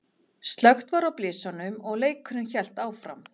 Slökkt var á blysunum og leikurinn hélt áfram.